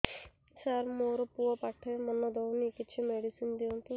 ସାର ମୋର ପୁଅ ପାଠରେ ମନ ଦଉନି କିଛି ମେଡିସିନ ଦିଅନ୍ତୁ